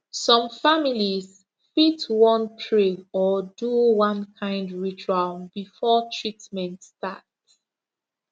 some families fit wan pray or do one kind ritual before treatment start